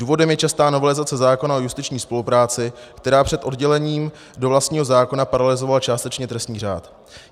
Důvodem je častá novelizace zákona o justiční spolupráci, která před oddělením do vlastního zákona paralyzovala částečně trestní řád.